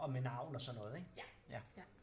Og med navn og sådan noget ik?